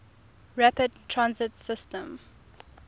rapid transit systems